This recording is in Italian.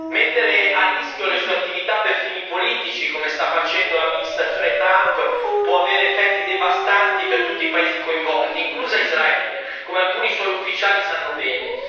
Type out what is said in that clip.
Mettere a rischio le sue attività per fini politici, come sta facendo l'amministrazione Trump, può avere effetti devastanti per tutti i paesi coinvolti, incluso Israele, come alcuni suoi ufficiali sanno bene.